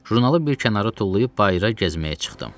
Jurnalı bir kənara tullayıb bayıra gəzməyə çıxdım.